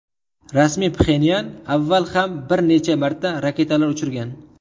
Rasmiy Pxenyan avval ham bir necha marta raketalar uchirgan .